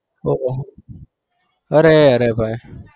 ઓહો અરે રે ભાઈ